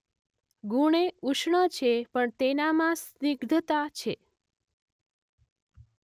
ગુણે ઉષ્ણ છે પણ તેનામાં સ્નિગ્ધતા છે.